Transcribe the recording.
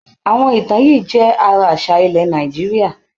Àwọn ìtàn yìí jẹ́ ara àṣà ilẹ̀ Nàìjíríà.